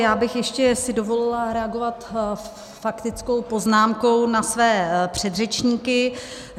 Já bych si ještě dovolila reagovat faktickou poznámkou na své předřečníky.